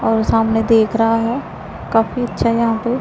और सामने दिख रहा है काफी अच्छा यहां पे--